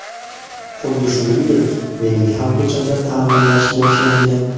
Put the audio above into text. Xuddi shuningdek, mening ham ko‘chamda ta’mirlash boshlangan.